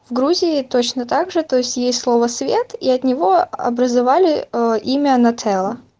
в грузии точно также то есть есть слово свет и от него образовали ээ имя нателла